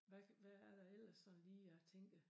Hvad hvad er der ellers sådan lige at tænke